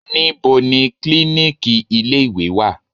Níbo ni klíníkì ilé ìwé wà?